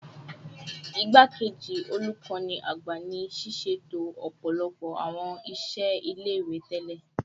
Igbakeji Olukọni Agba ni siseto ọpọlọpọ awọn iṣẹlẹ ile-iwe tẹlẹ